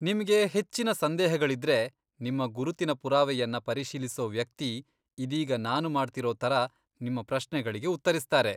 ನಿಮ್ಗೆ ಹೆಚ್ಚಿನ ಸಂದೇಹಗಳಿದ್ರೆ, ನಿಮ್ಮ ಗುರುತಿನ ಪುರಾವೆಯನ್ನ ಪರಿಶೀಲಿಸೋ ವ್ಯಕ್ತಿ, ಇದೀಗ ನಾನು ಮಾಡ್ತಿರೋ ಥರ, ನಿಮ್ಮ ಪ್ರಶ್ನೆಗಳಿಗೆ ಉತ್ತರಿಸ್ತಾರೆ.